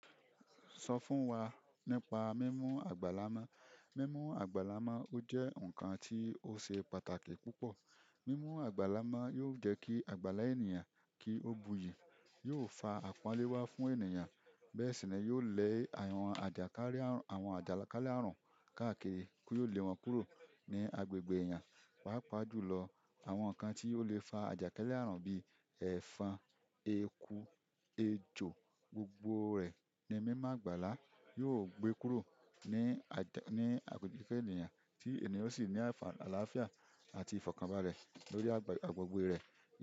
Sọ fún wa nípa mímú àgbàlá na. Mímú àgbàlá má ó jẹ́ ǹkan tí ó ṣe pàtàkì púpọ̀. Mímú àgbàlá má yóò jẹ́ kí àgbàlá ènìyàn kí ó bu yí, yóò fa àpọ́nlé wá fún ènìyàn, bẹ́ẹ̀ sì náà yóò lẹ àrùn ajakale àrùn àwọn àjàkálẹ̀ àrùn káàkiri yó le wọ́n kúrò ní agbègbè ènìyàn. Pá pàájù lọ, àwọn ǹkan tí ó lè fa àjàkálẹ̀ àrùn bí èèfan, eku, ejò, gbogbo rẹ̀ ni mímú àgbàlá yóò gbé kúrò ní agbègbè ènìyàn tí ènìyàn sì ní àlàáfíà àti ìfọ̀kànbalẹ̀ lórí agbègbè rẹ̀ yẹn.